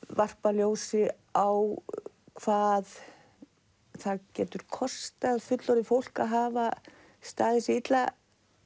varpa ljósi á hvað það getur kostað fullorðið fólk að hafa staðið sig illa